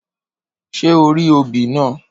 Ṣé orí obì naa?